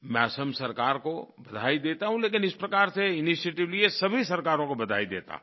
मैं असम सरकार को बधाई देता हूँ लेकिन इस प्रकार से इनिशिएटिव लिये सभी सरकारों को बधाई देता हूँ